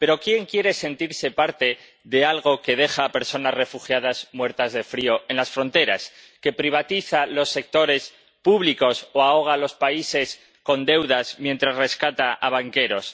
Pero, ¿quién quiere sentirse parte de algo que deja a personas refugiadas muertas de frío en las fronteras, que privatiza los sectores públicos o ahoga a los países con deudas, mientras rescata a banqueros?